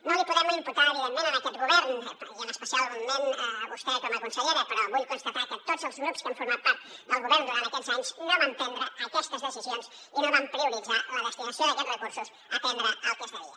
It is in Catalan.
no l’hi podem imputar evidentment a aquest govern i especialment a vostè com a consellera però vull constatar que tots els grups que han format part del govern durant aquests anys no van prendre aquestes decisions i no van prioritzar la destinació d’aquests recursos a atendre el que es devia